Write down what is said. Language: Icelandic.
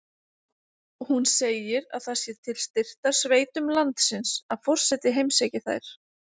Hún segir að það sé til styrktar sveitum landsins að forseti heimsæki þær.